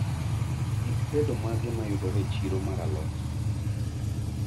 Gik tedo mage mayudore e chiro mar alot